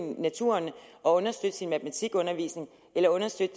naturen og understøtte sin matematikundervisning eller understøtte